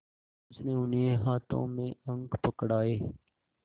उसने उन्हें हाथों में अंक पकड़ाए